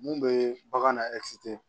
Mun be bagan na